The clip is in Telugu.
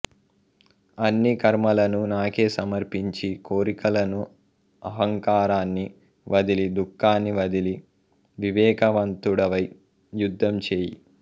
అన్ని కర్మలనూ నాకే సమర్పించి కోరికలనూ అహంకారాన్ని వదిలి దుఃఖాన్ని వదిలి వివేకవంతుడవై యుద్ధం చేయి